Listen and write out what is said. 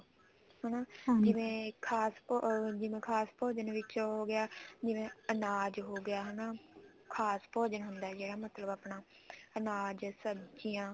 ਹਨਾ ਖਾਸ ਅਮ ਜਿਵੇਂ ਕਹਸ ਭੋਜਨ ਵਿੱਚ ਉਹ ਹੋਗਿਆ ਜਿਵੇਂ ਅਨਾਜ ਹੋਗਿਆ ਹਨਾ ਖਾਸ ਭੋਜਨ ਹੁੰਦਾ ਜਿਹੜਾ ਮਤਲਬ ਆਪਣਾ ਅਨਾਜ ਸਬਜੀਆਂ